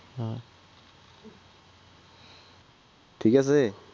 ঠিক আছে